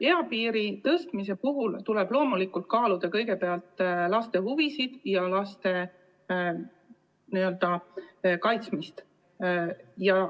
Eapiiri tõstmise puhul tuleb loomulikult kaaluda kõigepealt laste huvisid ja laste kaitsmist.